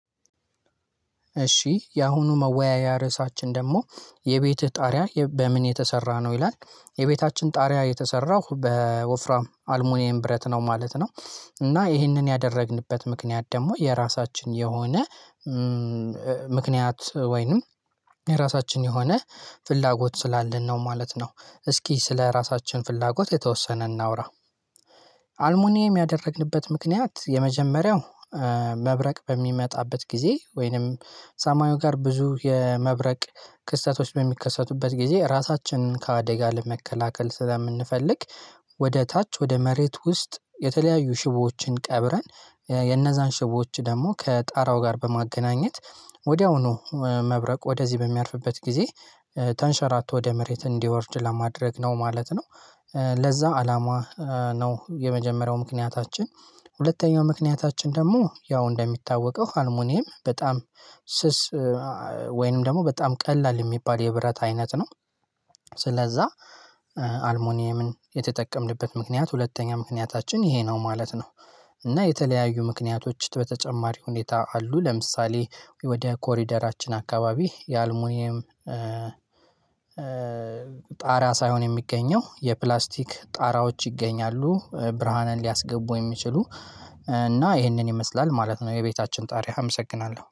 እሺ ያሁኑ መወያያ ርዕሳችን ደግሞ የቤትህ ጣሪያ በምን የተሰራ ነው ይላል የቤታችን ጣሪያ የተሰራው በወፍራም አልሙኒየም ብረት ነው ማለት ነው። እና ይህንን ያደረግንበት ምክንያት ደግሞ የራሳችን የሆነ ምክንያት ወይንም የራሳችን የሆነ ፍላጎት ስላለን ነው ማለት ነው። እስኪ ስለራሳችን ፍላጎት የተወሰነ እናውራ። አልሙኒየም ያደረግንበት ምክንያት የመጀመሪያው መብረቅ በሚመጣበት ጊዜ ወይንም ሳማዩ ጋር ብዙ የመብረቅ ክስተቶች በሚከሰቱበት ጊዜ ራሳችንን ከአደጋ ለመከላከል ስለምንፈልግ። ወደ ታች ወደ መሬት ውስጥ የተለያዩ ሽቦዎችን ቀብረን የነዛን ሽቦዎች ደግሞ ከጣራው ጋር በማገናኘት ወዲያውኑ መብረቅ ወደዚህ በሚያርፍበት ጊዜ ተንሸራቶ ወደ ምድር እንዲወርድ ለማድረግ ነው ማለት ነው። ለዛ አላማ ነው የመጀመሪያው ምክንያታችን። ሁለተኛው ምክንያታችን ደግሞ ያው እንደሚታወቀው አልሙኒየም በጣም ስስ ወይንም ደግሞ በጣም ቀላል የሚባል የብረት አይነት ነው። ስለዛ አልሞኒየምን የተጠቀምንበት ምክንያት ሁለተኛ ምክንያታችን ይሄ ነው ማለት ነው። እና የተለያዩ ምክንያቶች በተጨማሪ ሁኔታ አሉ ለምሳሌ ወደ ኮሪደራችን አካባቢ የአልሙኒየም ጣራ ሳይሆን የሚገኘው የፕላስቲክ ጣራዎች ይገኛሉ ብርሃንን ሊያስገቡ የሚችሉ እና ይህንን ይመስላል ማለት ነው የቤታችን ጣሪያ አመሰግናለሁ